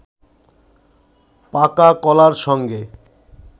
পাকা কলার সঙ্গে